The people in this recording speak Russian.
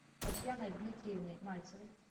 татьяной дмитриевной мальцевой